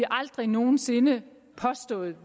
aldrig nogen sinde påstået